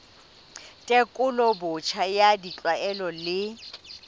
tekolo botjha ya ditlwaelo le